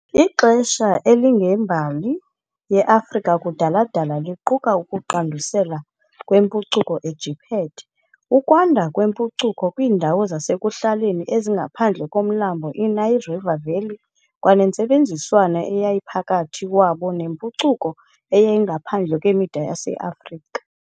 Ixesha elingembali ye-Afrika kudala-dala liquka ukuqandusela kwempucuko eJiphethe, ukwanda kwempucuko kwiindawo zasekuhlaleni ezingaphandle komlambo i- Nile River Valley kwanentsebenziswano eyayiphakathi wabo nempucuko eyayingaphandle kwemida yase-Afrika.